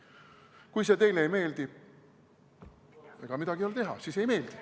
Kui see teile ei meeldi, siis ega midagi ei ole teha, siis ei meeldi.